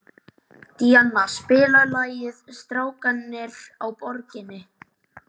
Díanna, spilaðu lagið „Strákarnir á Borginni“.